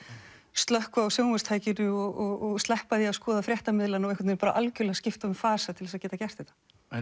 slökkva á sjónvarpstækinu og sleppa því að skoða fréttamiðlana og algjörlega skipta um fasa til að geta gert þetta